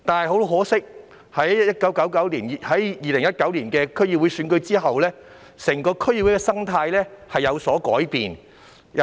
很可惜，在2019年的區議會選舉後，整個區議會的生態便有所改變。